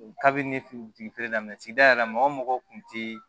Kabini ne fitiri daminɛ sigida yɛrɛ mɔgɔ o mɔgɔ kun tɛ